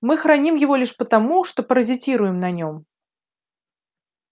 мы храним его лишь потому что паразитируем на нём